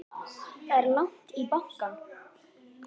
Það er langt í bankann!